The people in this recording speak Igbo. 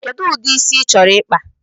Kedu udi ịsị ị chọrọ ikpa?